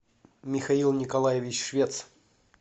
михаил николаевич швец